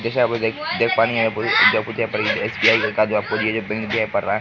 जैसे आप लोग देख देख पा जो आपको जो यहाँ पर एस.बी.आई. का जो है जो आपको ये जो है बैंक दिखाई पड़ रहा है।